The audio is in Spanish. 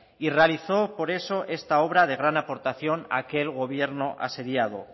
y realizó por eso esta obra de gran aportación a aquel gobierno asediado